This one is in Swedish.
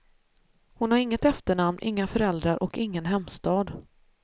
Hon har inget efternamn, inga föräldrar och ingen hemstad.